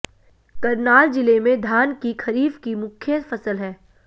करनाल जिले में धान की खरीफ की मुख्य फसल है